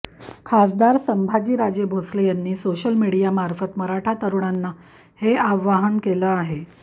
खासदार संभाजीराजे भोसले यांनी सोशल मीडियामार्फत मराठा तरूणांना हे आव्हान केलं आहे